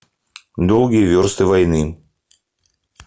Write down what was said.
долгие версты войны